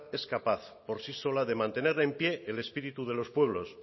es capaz por sí sola de mantener en pie el espíritu de los pueblos